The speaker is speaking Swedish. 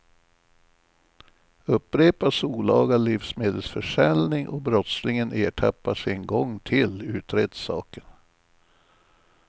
Upprepas olaga livsmedelsförsäljning och brottslingen ertappas en gång till utreds saken.